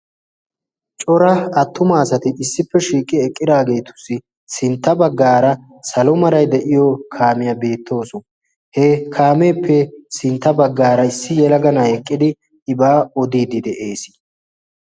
cora attuma asati issippe shiiqi eqqiraageetussi sintta baggaara salo meray de'iyo kaamiyaa beettawusu. he kaameeppe sintta baggaara issi yelaga naa'ay eqqidi ibaa odiiddi de'ees.